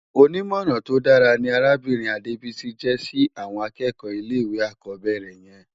Ónimòrán tó dàrá ni Arábirin Adebisi jè si àwòn ákèékò ilé iwé ákòbèrè yèn